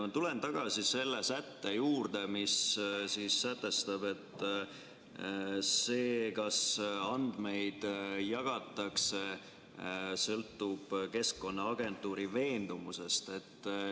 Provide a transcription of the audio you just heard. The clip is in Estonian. Ma tulen tagasi selle sätte juurde, mis sätestab, et see, kas andmeid jagatakse, sõltub Keskkonnaagentuuri veendumusest.